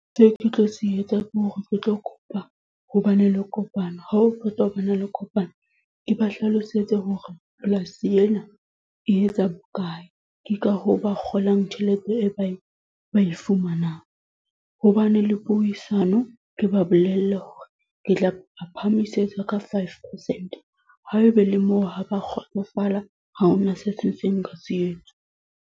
Seo ke tlo se etsa ke hore ke tlo kopa hobane le kopano. Ha ho qeta ho bana le kopano. Ke ba hlalosetse hore polasi ena, e etsa bo kae. Ke ka hoo ba kgolang tjhelete e ba e, ba e fumanang. Hobane le puisano ke ba bolelle hore ke tla ba phahamisetsa ka five percent. Haebe le moo ha ba kgotsofala, ha hona se setseng ka se etsa.